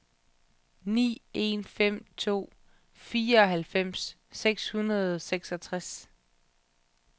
ni en fem to fireoghalvfems seks hundrede og seksogtres